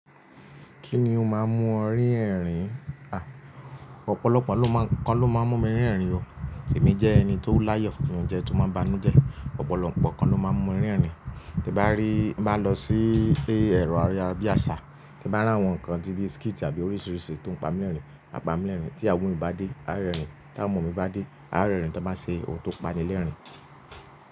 Kíni ó máa ń mú ọ rí ẹ̀rìn? À, ọ̀pọ̀lọpọ̀ nǹkan ló máa ń mú mi rí ẹ̀rìn o. Èmi jẹ́ ẹni tó láyọ̀, mí n jẹ tó máa banújẹ́, ọ̀pọ̀lọpọ̀ nǹkan ló máa ń mú mi rí ẹ̀rìn. Tí bá rí, bá lọ sí ilé ẹ̀rọ aríyá bí àṣá, tí bá rí àwọn nǹkan tí bí skítì àbí oríṣiríṣi tó ń pa mi lérìn, a pa mi lérìn. Tí iyawọ mí bá dé, a rẹ́rìn. Tí àwọn ọmọ mi bá dé, a rẹ́rìn tí wọ́n bá ṣe ohun tó pa ni lérìn.